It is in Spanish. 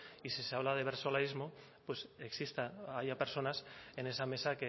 y si se habla de versolarismo pues exista haya personas en esa mesa